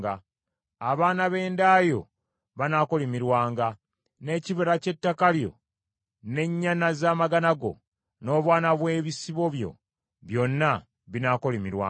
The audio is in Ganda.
Abaana b’enda yo banaakolimirwanga, n’ekibala ky’ettaka lyo, n’ennyana z’amagana go, n’obwana bw’ebisibo byo byonna binaakolimirwanga.